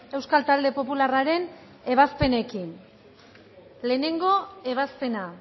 euskal talde popularraren ebazpenekin lehenengo ebazpena